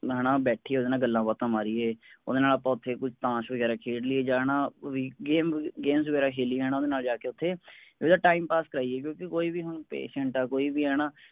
ਓਹਦੇ ਨਾਲ ਬੈਠੀਏ ਹੈਨਾ ਗੱਲਾਂ ਬਾਤਾਂ ਮਾਰੀਏ ਓਹਦੇ ਨਾਲ ਆਪਾਂ ਉਥੇ ਕੁੱਛ ਤਾਸ਼ ਵਗੈਰਾ ਖੇਡੀਏ ਮਤਲਬ ਜਾਂ ਹੈਨਾ ਬਈ game ਗੂਮ games ਵਗੈਰਾ ਖੇਲੀਏ ਓਹਦੇ ਨਾਲ ਜਾ ਕੇ ਓਥੇ ਓਹਦਾ time pass ਕਰਾਈਏ ਕਿਉਂਕਿ ਹੁਣ ਕੋਈ ਵੀ ਹੁਣ patient ਆ ਕੋਈ ਵੀ ਹੈਨਾ